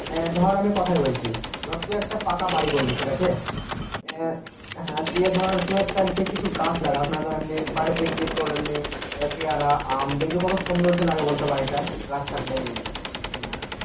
হ্যাঁ ধর আমি কথাই বলছি ধর তুই একটা পাকা বাড়ি করলি ঠিক আছে আহ হ্যাঁ দিয়ে ধর তুই একটা কিছু গাছ লাগাস তুই একটা এমনি বাড়িতে দেখবি তোর এমনি পেয়ারা আম দেখবি কত সৌন্দর্য লাগে বলতো বাড়িটা গাছ থাকলে